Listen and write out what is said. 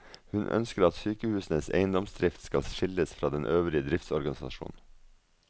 Hun ønsker at sykehusenes eiendomsdrift skal skilles fra den øvrige driftsorganisasjonen.